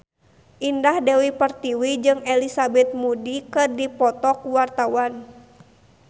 Indah Dewi Pertiwi jeung Elizabeth Moody keur dipoto ku wartawan